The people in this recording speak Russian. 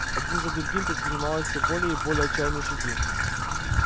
один за другим предпринималось всё более и более отчаянные шаги